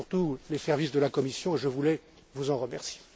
Pour tous les services de la Commission, je voulais vous en remercier.